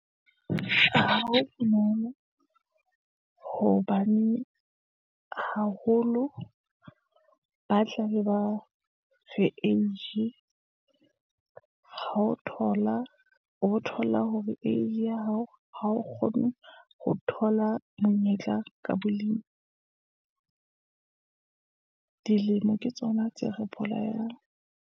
Ha ho bonolo hobane haholo, ba tla le bao re age ha o thola, o bo thola hore age ya hao, ha o kgone ho thola monyetla ka bolemi. Dilemo ke tsona tse re bolayang.